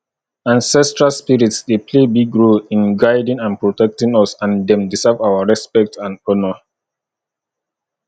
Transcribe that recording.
ancestral spirits dey play big role in guiding and protecting us and dem deserve our respect and honor